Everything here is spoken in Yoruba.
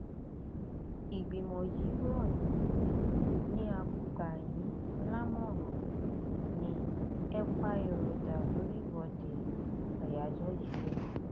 ìgbìmọ yìí rọ yín ni a gbà yín lámọràn ni ẹ pa èrò dà lórí ìwọde àyájọ yìí o